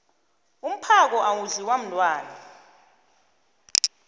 umphako awudliwa mntwana